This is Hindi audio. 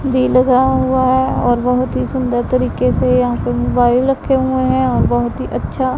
भी लगा हुआ है और बहोत ही सुंदर तरीके से यहां पे मोबाइल रखे हुए हैं और बहोत ही अच्छा--